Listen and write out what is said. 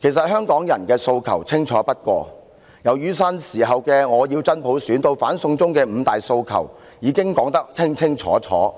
其實，香港人的訴求清楚不過，從雨傘運動時的"我要真普選"至反修例運動的"五大訴求"，實在明確非常，